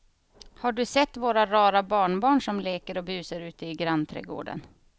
Har du sett våra rara barnbarn som leker och busar ute i grannträdgården!